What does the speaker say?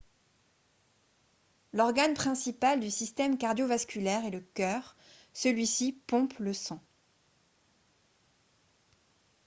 l'organe principal du système cardio-vasculaire est le cœur celui-ci pompe le sang